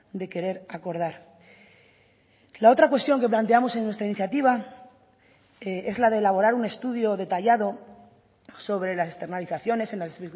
de querer acordar la otra cuestión que planteamos en nuestra iniciativa es la de elaborar un estudio detallado sobre las externalizaciones en las